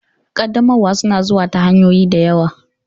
Ƙaddamarwa suna zuwa ta hanyoyi da yawa.